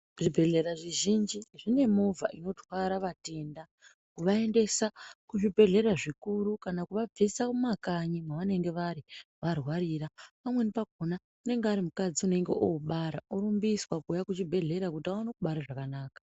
Zvibhedhlera zvizhinji zvine movha inotwara vatenda kuvaendesa kuzvibhedhlera zvikuru kana kuvabvisa mumakanyi mavanenge vari varwarira pamweni pakona unenge ari mukadzi unenge obara orumbiswa kuuya kuchibhedhlera kuti aone kubara zvakanaka.